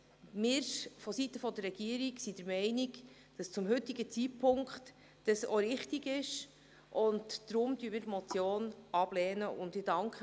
Wir sind seitens der Regierung der Meinung, zum heutigen Zeitpunkt sei dies auch richtig, und deswegen lehnen wir die Motion ab.